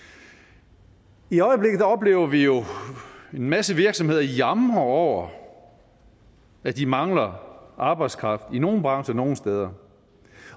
i i øjeblikket oplever vi jo en masse virksomheder jamre over at de mangler arbejdskraft i nogle brancher nogle steder